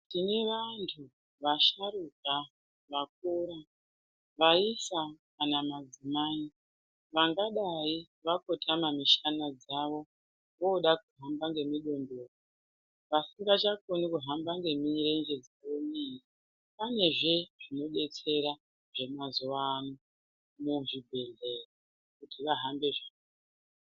Tine vantu vasharuka vakura, vaisa kana madzimai vangadai vakotama mishana dzavo. Voda kuhamba ngemidondoro, vasingachakoni kuhamba ngemirenje dzavo miiri. Panezve zvinodetsera zvemazuvaano muzvibhedhlera kuti vahambe.